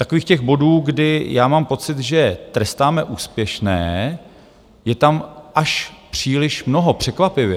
Takových těch bodů, kdy já mám pocit, že trestáme úspěšné, je tam až příliš mnoho, překvapivě.